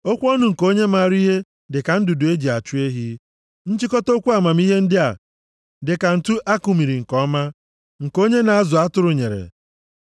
Okwu ọnụ nke onye maara ihe dị ka ndụdụ e ji achụ ehi. Nchịkọta okwu amamihe ndị a dị ka ǹtu a kumiri nke ọma, nke onye na-azụ atụrụ nyere.